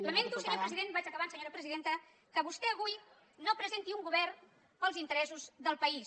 lamento senyor president vaig acabant senyora presidenta que vostè avui no presenti un govern per als interessos del país